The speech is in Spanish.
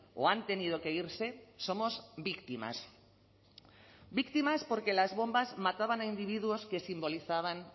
o han tenido que irse somos víctimas víctimas porque las bombas mataban a individuos que simbolizaban